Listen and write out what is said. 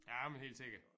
Ja men helt sikkert